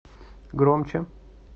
громче